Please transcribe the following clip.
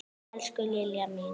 Elsku Lilja mín.